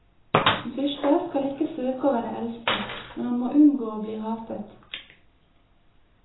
En fyrste skal ikke søke å være elsket, men han må unngå å bli hatet.